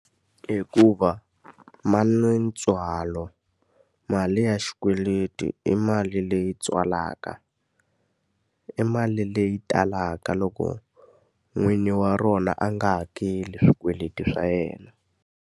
Hikuva ma na ntswalo. Mali ya xikweleti i mali leyi tswalaka, i mali leyi talaka loko n'wini wa rona a nga hakeli swikweleti swa yena.